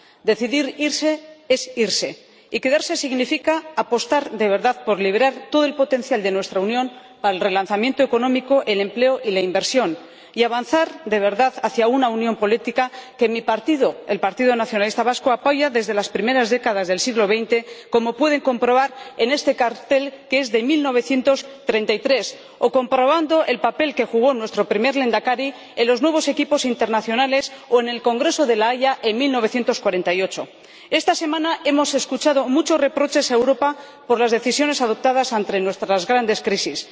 Decidir irse es irse, y quedarse significa apostar de verdad por liberar todo el potencial de nuestra Unión al relanzamiento económico, el empleo y la inversión y avanzar de verdad hacia una unión política que mi partido, el Partido Nacionalista Vasco, apoya desde las primeras décadas del siglo XX, como pueden comprobar en este cartel, que es de 1933 o comprobando el papel que jugó nuestro primer Lehendakari en los nuevos equipos internacionales o en el Congreso de La Haya en 1948. Esta semana hemos escuchado muchos reproches a Europa por las decisiones adoptadas ante nuestras grandes crisis.